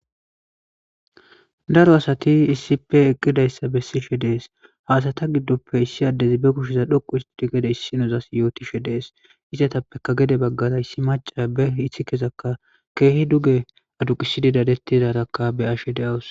Daro asati issipe eqqidayssa bessishe dees haasata giddoppe issi addezi be kusheza dhoqu histidi gede issinozas yootishe dees izatappeka gede baggara yssi maca be ithikezakka keehi duge aduqisididadettidarakka be ashe deawus.